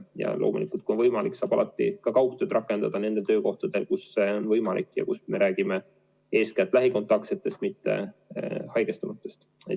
Ja kui on võimalik, saab ju ka kaugtööd rakendada teatud töökohtadel ja kui tegu on eeskätt lähikontaktsetega, mitte haigestunutega.